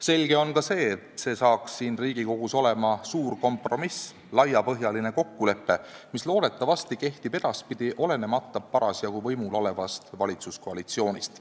Selge on ka see, et see saab siin Riigikogus olema suur kompromiss, laiapõhjaline kokkulepe, mis loodetavasti kehtib ka edaspidi, olenemata parasjagu võimul olevast valitsuskoalitsioonist.